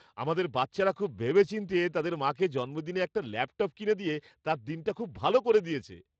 আমাদের বাচ্চারা খুব ভেবেচিন্তে তাদের মাকে জন্মদিনে একটি ল্যাপটপ কিনে দিয়ে তার দিনটা খুব ভালো করে দিয়েছে।